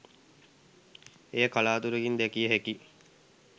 එය කලාතුරකින් දැකිය හැකි